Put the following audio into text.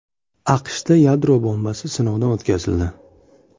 AQShda yadro bombasi sinovdan o‘tkazildi.